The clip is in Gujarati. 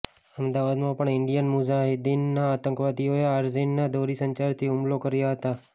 અમદાવાદમાં પણ ઈન્ડિયન મુઝાહિદીનના આતંકવાદીઓએ આરિઝના દોરીસંચારથી હુમલાં કર્યા હતા